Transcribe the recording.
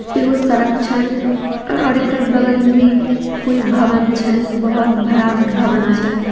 एगो सड़क छै अ और इकरे बगल मे कोई भवन छै बहोत बड़ा भवन छै।